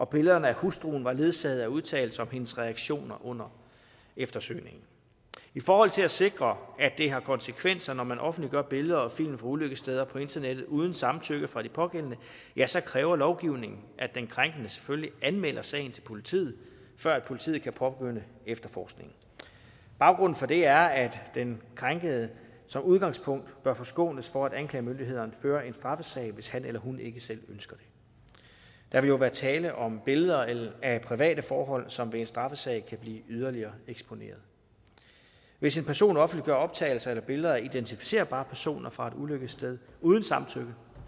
billederne af hustruen var ledsaget af udtalelser om hendes reaktioner under eftersøgningen i forhold til at sikre at det har konsekvenser når man offentliggør billeder og film fra ulykkessteder på internettet uden samtykke fra de pågældende ja så kræver lovgivningen at den krænkede selvfølgelig anmelder sagen til politiet før politiet kan påbegynde efterforskningen baggrunden for det er at den krænkede som udgangspunkt bør forskånes for at anklagemyndigheden fører en straffesag hvis han eller hun ikke selv ønsker det der vil jo være tale om billeder af private forhold som ved en straffesag kan blive yderligere eksponeret hvis en person offentliggør optagelser eller billeder af identificerbare personer fra et ulykkessted uden samtykke